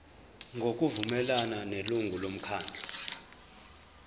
ngokuvumelana nelungu lomkhandlu